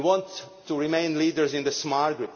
We want to remain leaders in this market.